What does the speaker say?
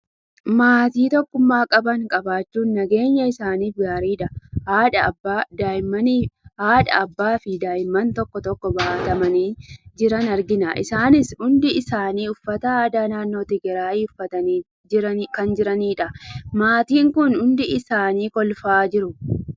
Maatii tokkummaa qaban qabaachuun nageenya isaaniif gaariidha. Haadha, Abbaa, fi daa'imman tokko tokko baatamanii jiran argina. Isaanis hundi isaanii uffata aadaa naannoo Tigiraayi uffatanii jiranidha. Maatiin kun hundi isaanii kolfaa jiru.